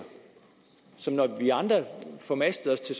når vi andre formastede os til